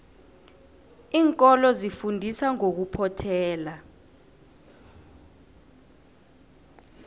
iinkolo zifundisa ngokuphothela